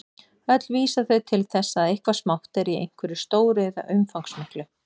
Öll vísa þau til þess að eitthvað smátt er í einhverju stóru eða umfangsmiklu.